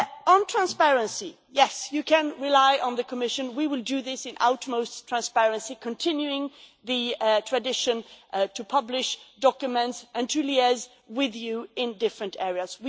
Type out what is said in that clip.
On transparency yes, you can rely on the Commission we will do this in utmost transparency, continuing the tradition to publish documents and to liaise with you in different areas.